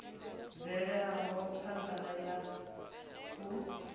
i bvelaho phanda ya u